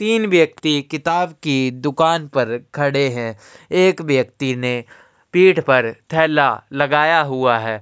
तीन व्यक्ति किताब की दुकान पर खड़े हैं। एक व्यक्ति ने पीठ पर थेला लगाया हुआ है।